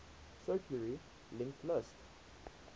circularly linked list